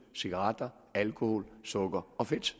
cigaretter alkohol sukker og fedt